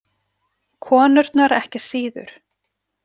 Konurnar ekki síður.